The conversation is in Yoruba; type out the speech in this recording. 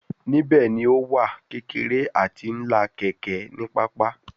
Nibẹ ni o wa kekere ati ńlá keke ni papa